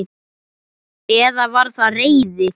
Eða var það reiði?